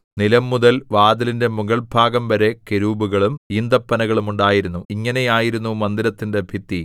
നിലംമുതൽ വാതിലിന്റെ മുകൾഭാഗംവരെ കെരൂബുകളും ഈന്തപ്പനകളും ഉണ്ടായിരുന്നു ഇങ്ങനെ ആയിരുന്നു മന്ദിരത്തിന്റെ ഭിത്തി